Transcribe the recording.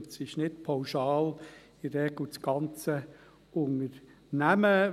in der Regel ist es nicht pauschal das ganze Unternehmen.